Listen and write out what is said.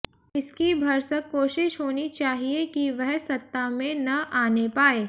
इसकी भरसक कोशिश होनी चाहिये की वह सत्ता में न आने पायें